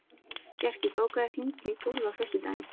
Bjarki, bókaðu hring í golf á föstudaginn.